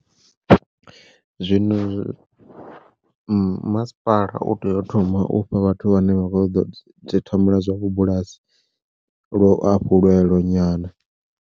Zwino masipala u tea u thoma u fha vhathu vhane vha kho ṱoḓa uḓi thomela zwa vhu bulasi luafhulelo nyana.